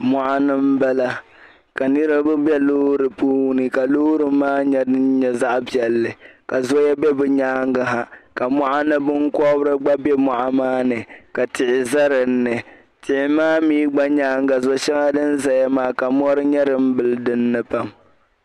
mɔɣuni m-bala ka niriba be loori puuni ka loori maa nyɛ zaɣ' piɛlli ka zoya be bɛ nyaaŋga ha ka mɔɣuni binkɔbiri gba be mɔɣu maani ka tihi za dinni tihi maa mi gba nyaaŋga shɛŋa din zaya maa ka mɔri nyɛ din bili dinni pam